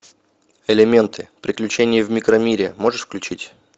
элементы приключения в микромире можешь включить